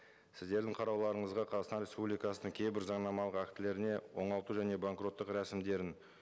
сіздердің қарауларыңызға қазақстан республикасының кейбір заңнамалық актілеріне оңалту және банкроттық рәсімдерін